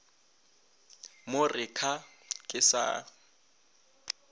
mo re kha ke sa